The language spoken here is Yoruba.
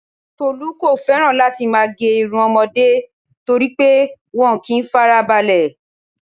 Tolu kò feran láti má gé irun ọmọde toripe wọn ò kí n fara balẹ